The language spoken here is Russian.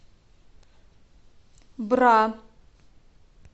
бра